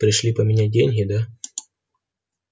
пришли поменять деньги да